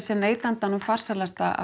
er neytandanum farsælast að